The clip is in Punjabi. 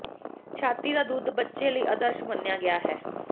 ਛਾਤੀ ਦਾ ਦੁੱਧ ਬੱਚੇ ਲਈ ਆਦਰਸ਼ ਮੰਨਿਆ ਗਿਆ ਹੈ